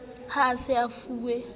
ha a sa e fuwe